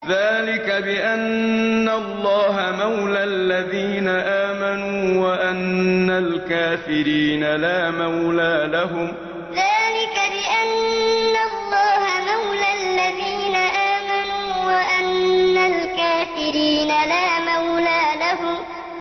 ذَٰلِكَ بِأَنَّ اللَّهَ مَوْلَى الَّذِينَ آمَنُوا وَأَنَّ الْكَافِرِينَ لَا مَوْلَىٰ لَهُمْ ذَٰلِكَ بِأَنَّ اللَّهَ مَوْلَى الَّذِينَ آمَنُوا وَأَنَّ الْكَافِرِينَ لَا مَوْلَىٰ لَهُمْ